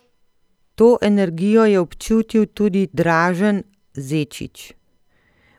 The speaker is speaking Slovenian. To energijo je občutil tudi Dražen Zečić.